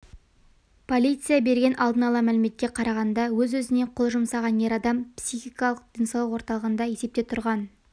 полиция берген алдын ала мәліметке қарағанда өз-өзіне қол жұмсаған ер адам психикалық денсаулық орталығында есепте тұрған